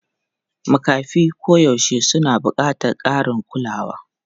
Makafi koyaushe suna buƙatar ƙarin kulawa.